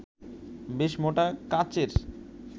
বেশ মোটা কাচের